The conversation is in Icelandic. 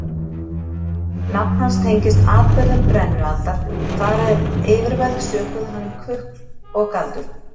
Nafn hans tengist atburðum brennualdar þar eð yfirvöld sökuðu hann um kukl og galdur.